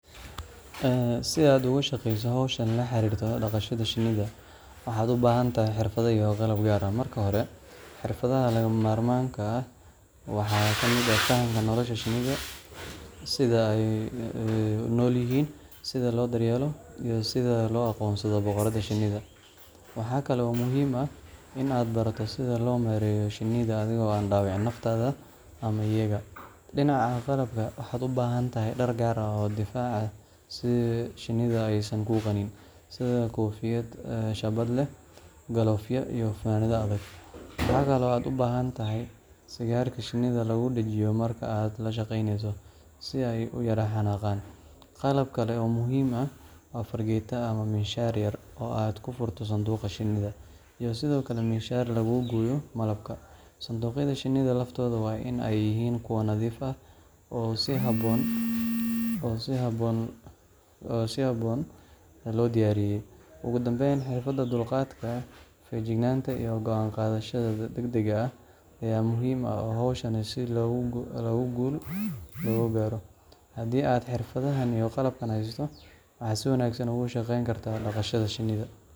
Si aad uga shaqeyso hawshan la xiriirta dhaqashada shinnida, waxaad u baahan tahay xirfado iyo qalab gaar ah. Marka hore, xirfadaha lagama maarmaanka ah waxaa ka mid ah fahamka nolosha shinnida, sida ay u nool yihiin, sida loo daryeelo, iyo sida loo aqoonsado boqoradda shinnida. Waxa kale oo muhiim ah in aad barato sida loo maareeyo shinnida adigoo aan dhaawicin naftaada ama iyaga. Dhinaca qalabka, waxaad u baahan tahay dhar gaar ah oo difaac ah si shinnidu aysan kuu qanin sida koofiyad shaabad leh, galoofyo iyo funaanad adag. Waxa kale oo aad u baahan tahay sigaarka shinnida lagu dajiyo marka aad la shaqeynayso, si ay u yara xanaaqaan. Qalab kale oo muhiim ah waa fargeetada ama miinshaar yar oo aad ku furto sanduuqa shinnida, iyo sidoo kale miinshaar lagu gooyo malabka. Sanduuqyada shinnida laftooda waa in ay yihiin kuwo nadiif ah oo si habboon loo diyaariyay. Ugu dambayn, xirfadaha dulqaadka, feejignaanta, iyo go’aan qaadashada degdegga ah ayaa muhiim u ah hawshan si guul looga gaaro. Haddii aad xirfadahan iyo qalabkan haysato, waxaad si wanaagsan uga shaqeyn kartaa dhaqashada shinnida.